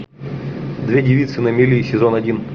две девицы на мели сезон один